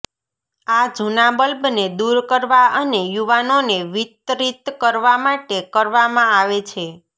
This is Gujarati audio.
આ જૂના બલ્બને દૂર કરવા અને યુવાનોને વિતરિત કરવા માટે કરવામાં આવે છે